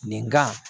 Nin kan